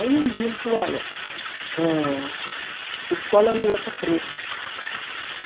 Aí um dia ele falou, olha, eh escola não é para preto.